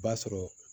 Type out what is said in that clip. O b'a sɔrɔ